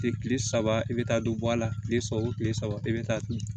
Kile saba i bɛ taa don bɔ a la kile saba o kile saba i bɛ taa ton